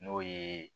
N'o ye